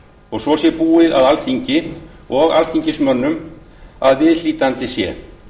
og svo sé búið að alþingi og alþingismönnum að viðhlítandi sé